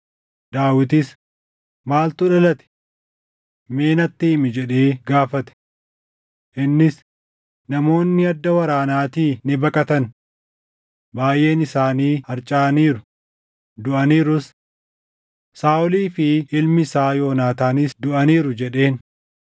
Daawitis, “Maaltu dhalate? Mee natti himi” jedhee gaafate. Innis, “Namoonni adda waraanaatii ni baqatan. Baayʼeen isaanii harcaʼaniiru; duʼaniirus. Saaʼolii fi ilmi isaa Yoonaataanis duʼaniiru” jedheen.